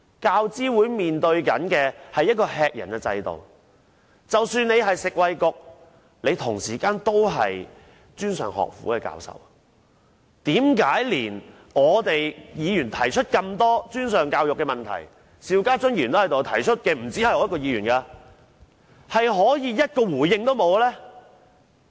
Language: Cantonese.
教資會所面對的是一個吃人的制度，即使她現在是食物及衞生局局長，她同時也是專上學府的教授，為何連議員提出這麼多專上教育的問題，她也可以不作回應呢？